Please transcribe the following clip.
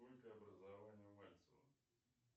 сколько образований у мальцева